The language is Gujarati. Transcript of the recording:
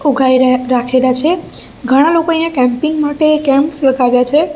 ઉઘાઈ ર રાખેલા છે ઘણા લોકો અહીંયા કેમ્પિંગ માટે કેમ્પસ લગાવ્યા છે.